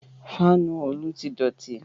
Fáànù Olú ti dọ̀ti